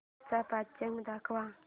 आजचं पंचांग दाखव